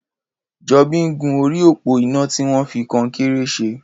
Jobi n gún óri ópó iná tiwọn fi kọ̀nkéré ṣẹ̀